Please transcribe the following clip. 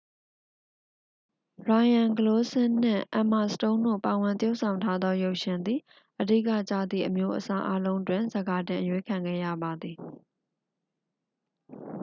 ရိုင်ရန်ဂလိုးစင်း နှင့် အမ်မာစတုန်း တို့ ပါဝင်သရုပ်ဆောင်ထားသောရုပ်ရှင်သည် အဓိကျသည့် အမျိုးအစားအားလုံးတွင် ဆန်ခါတင်အရွေးခံခဲ့ရပါသည်